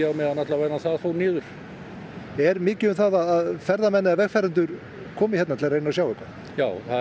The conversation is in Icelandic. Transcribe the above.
á meðan það fór niður er mikið um að að vegfarendur komi til að reyna sjá þetta já það